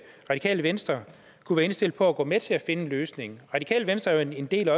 radikale venstre kunne være indstillet på at gå med til at finde en løsning radikale venstre er jo en del